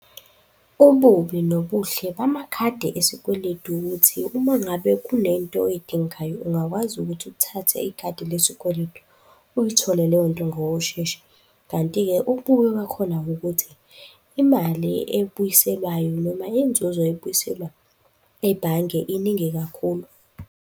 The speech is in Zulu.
Ububi nobuhle bamakhadi esikweletu ukuthi uma ngabe kunento oy'dingayo ungakwazi ukuthi uthathe ikhadi lesikweletu uyithole leyonto ngokushesha. Kanti-ke ububi bakhona ukuthi imali ebuyiselwayo noma inzuzo ebuyiselwa ebhange iningi kakhulu.